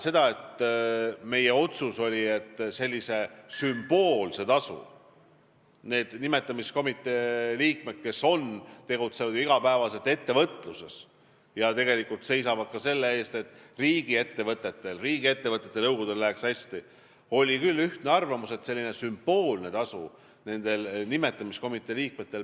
Meie otsus oli, et selline sümboolne tasu nendel nimetamiskomitee liikmetel, kes tegutsevad iga päev ettevõtluses ja seisavad ka selle eest, et riigiettevõtete nõukogudel läheks hästi, peaks olema, kui nad on tulnud väljastpoolt avalikku sektorit.